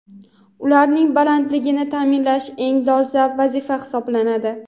Ularning bandligini taʼminlash eng dolzarb vazifa hisoblanadi.